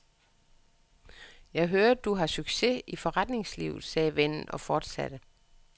Jeg hører, du har succes i forretningslivet, sagde vennen og fortsatte.